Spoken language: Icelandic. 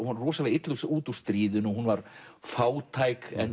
illa út úr stríðinu hún var fátæk en